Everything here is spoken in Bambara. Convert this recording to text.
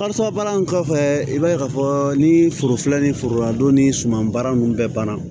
Karisa baara kɔfɛ i b'a ye k'a fɔ ni foro filɛ ni forola don ni suman baara ninnu bɛɛ banna